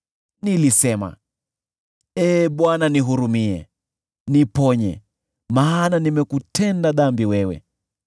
Nilisema, “Ee Bwana nihurumie, niponye, maana nimekutenda dhambi wewe.”